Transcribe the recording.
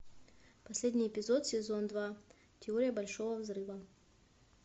последний эпизод сезон два теория большого взрыва